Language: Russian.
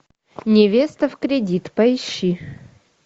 невеста в кредит поищи